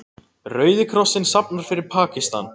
Rauði krossinn safnar fyrir Pakistan